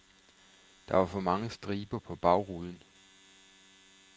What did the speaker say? Der var for mange striber på bagruden.